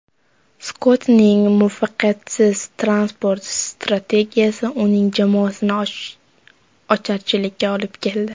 Skottning muvaffaqiyatsiz transport strategiyasi uning jamoasini ocharchilikka olib keldi.